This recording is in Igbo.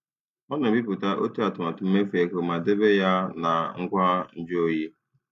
Ọ na-ebipụta otu atụmatụ mmefu ego ma debe ya na ngwa nju oyi.